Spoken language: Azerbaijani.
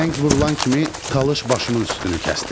Zəng vurulan kimi talış başımın üstünü kəsdi.